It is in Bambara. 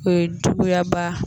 O ye juguya ba